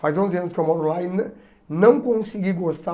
Faz onze anos que eu moro lá e não não consegui gostar.